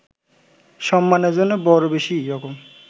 সম্মানের জন্য বড় বেশী রকম